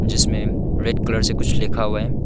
जिसमें red colour से कुछ लिखा हुआ है।